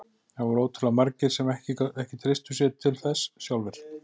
Það voru ótrúlega margir sem ekki treystu sér til þess sjálfir.